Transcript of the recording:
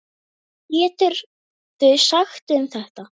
Hvað geturðu sagt um þetta?